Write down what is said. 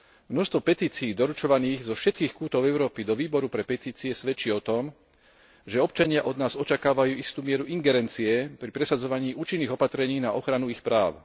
Množstvo petícií doručovaných zo všetkých kútov Európy do Výboru pre petície svedčí o tom, že občania od nás očakávajú istú mieru ingerencie pri presadzovaní účinných opatrení na ochranu ich práv.